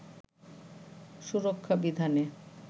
সুরক্ষা বিধানে